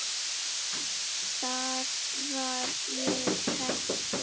Þar var ég heppin.